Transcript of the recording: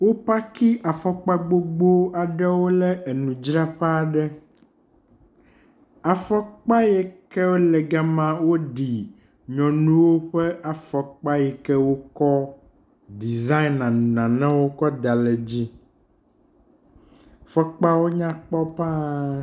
Wo paki afɔkpa gbogbo aɖewo ɖe enudzraƒe aɖe. afɔkpa yewo ke gama woɖi afɔkpa ye wokɔ ɖisayina nanewo kɔ da ɖe dzi. Afɔkpawo nyakpɔ paa.